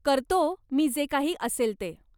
करतो मी जे काही असेल ते.